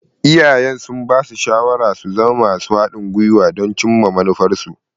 Iyayensu sun basu shawarar su zama masu haɗin guiwa don su cimma manufarsu.